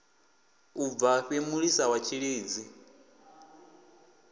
u bvafhi mulisa wa tshilidzi